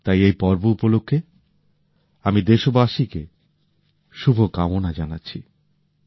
তাই এই পর্ব উপলক্ষে আমি দেশবাসীকে শুভকামনা জানাচ্ছি